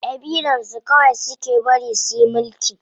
Ƙabilar su kawai suke bari suyi mulki.